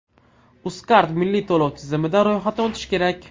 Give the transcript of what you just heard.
Uzcard milliy to‘lov tizimida ro‘yxatdan o‘tish kerak .